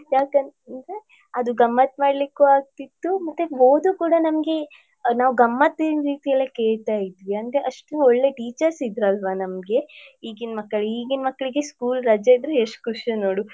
ಯಾಕಂದ್ರೆ ಅದು ಗಮ್ಮತ್ ಮಾಡ್ಲಿಕ್ಕೂ ಆಗ್ತಿತ್ತು ಮತ್ತೆ ಓದು ಕೂಡ ನಮ್ಗೆ ಅ ನಾವ್ ಗಮ್ಮತ್ತಿನ್ ರೀತಿ ಅಲ್ಲಿ ಕೇಳ್ತಾ ಇದ್ವಿ ಅಂದ್ರೆ ಅಷ್ಟು ಒಳ್ಳೆ teachers ಇದ್ರು ಅಲ್ವ ನಮ್ಗೆ ಈಗಿನ್ ಮಕ್ಳು ಈಗಿನ್ ಮಕ್ಳಿಗೆ school ರಜೆ ಇದ್ರೆ ಎಷ್ಟು ಖುಷಿ ನೋಡು.